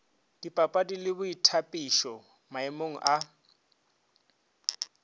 dipapadi le boithabišo maemong a